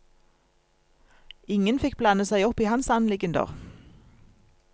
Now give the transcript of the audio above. Ingen fikk blande seg opp i hans anliggender.